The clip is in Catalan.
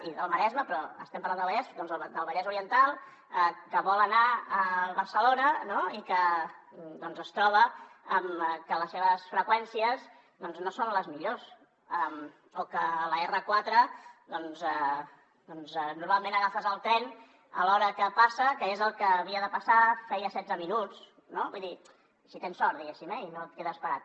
i del maresme però estem parlant del vallès doncs del vallès oriental que vol anar a barcelona i que es troba amb que les seves freqüències no són les millors o que a l’r4 doncs normalment agafes el tren a l’hora que passa que és el que havia de passar feia setze minuts no vull dir si tens sort diguéssim eh i no et quedes parat